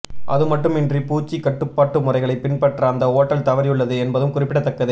அதுமட்டுமின்றி பூச்சி கட்டுப்பாட்டு முறைகளை பின்பற்ற அந்த ஓட்டல் தவறியுள்ளது என்பதும் குறிப்பிடத்தக்கது